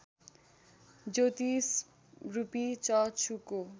ज्योतिषरूपी चक्षुको